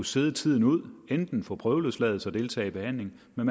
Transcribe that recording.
sidde tiden ud på prøveløsladelse deltager i behandling men